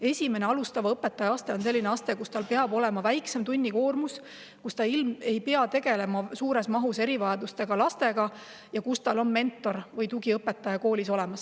Esimene, alustava õpetaja aste on selline aste, mille korral peab olema väiksem tunnikoormus, õpetaja ei pea tegelema suures mahus erivajadustega lastega ja tal on koolis mentor või tugiõpetaja.